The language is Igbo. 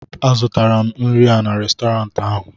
a zụtara m nri a n'Restọrantị ahụ